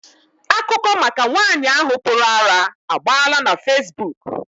Akụkọ maka nwaanyị ahụ pụrụ ara agbaala na fesibuuku.